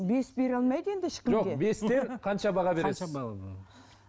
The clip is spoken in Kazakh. бес бере алмайды енді ешкім де жоқ бесте қанша баға